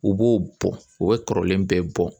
U b'o bɔn u bɛ kɔrɔlen bɛɛ bɔ